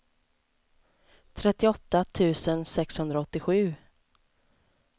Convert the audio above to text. trettioåtta tusen sexhundraåttiosju